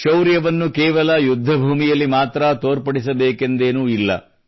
ಶೌರ್ಯವನ್ನು ಕೇವಲ ಯುದ್ಧ ಭೂಮಿಯಲ್ಲಿ ಮಾತ್ರ ತೋರ್ಪಡಿಸಬೇಕೆಂದೇನೂ ಇಲ್ಲ